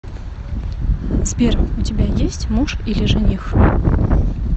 сбер у тебя есть муж или жених